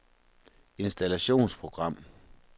installationsprogram